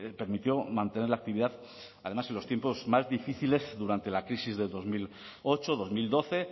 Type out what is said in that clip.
permitió mantener la actividad además en los tiempos más difíciles durante la crisis del dos mil ocho dos mil doce